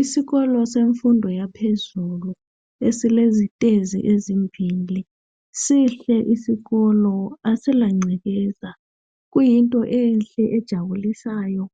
Isikolo semfundo yaphezulu esilezitezi ezimbili. Sihle isikolo, asilangcekeza. Kuyinto enhle, ejabulisayo